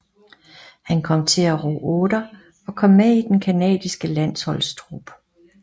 Han kom til at ro otter og kom med i den canadiske landsholdstrup